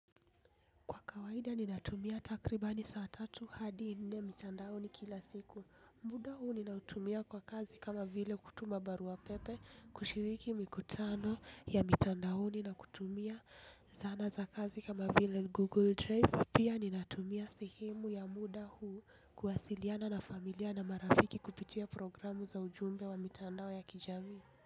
Kwa kawaida ninatumia takribani saa tatu hadi nne mtandaoni kila siku, muda huu ninautumia kwa kazi kama vile kutuma baruapepe, kushiriki mikutano ya mitandaoni na kutumia zana za kazi kama vile google drive pia ninatumia sehemu ya muda huu kuwasiliana na familia na marafiki kupitia programu za ujumbe wa mtandao ya kijamii.